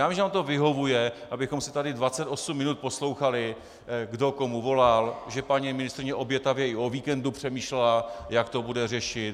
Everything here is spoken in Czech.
Já vím, že vám to vyhovuje, abychom se tady 28 minut poslouchali, kdo komu volal, že paní ministryně obětavě i o víkendu přemýšlela, jak to bude řešit.